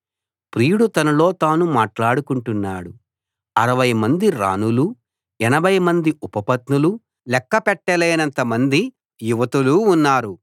ప్రియుడు తనలో తాను మాట్లాడుకుంటున్నాడు అరవై మంది రాణులూ ఎనభై మంది ఉపపత్నులూ లెక్క పెట్టలేనంత మంది యువతులూ ఉన్నారు